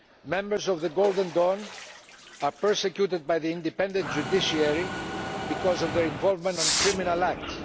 Members of Golden Dawn are persecuted by the independent judiciary because of their involvement in criminal acts.